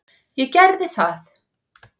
Ég gerði það.